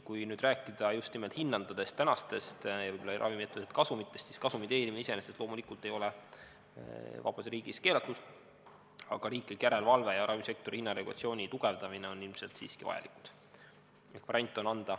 Kui rääkida just nimelt hindadest, tänastest ravimitootjate kasumitest, siis kasumi teenimine iseenesest loomulikult ei ole vabas riigis keelatud, aga riiklik järelevalve ja ravimisektori hinnaregulatsiooni tugevdamine on ilmselt siiski vajalikud.